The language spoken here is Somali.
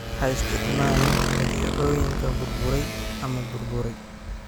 Ha isticmaalin badeecooyinka burburay ama burburay.